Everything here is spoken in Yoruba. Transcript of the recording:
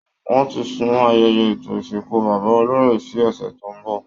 Wọ́n ti sún ayẹyẹ ètò ìsìnkú bàbá olóyè sí ọ̀sẹ̀ tó ń bọ̀